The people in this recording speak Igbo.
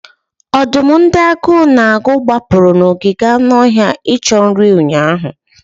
Ọdụm ndị agụụ na-agụ gbapụrụ n'ogige anụ ọhịa icho nri ụnyaahụ.